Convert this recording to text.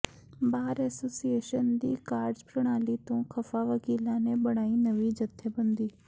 ਬਾਰ association ਦੀ ਕਾਰਜਪ੍ਰਣਾਲੀ ਤੋਂ ਖ਼ਫ਼ਾ ਵਕੀਲਾਂ ਨੇ ਬਣਾਈ ਨਵੀਂ ਜਥੇਬੰਦੀ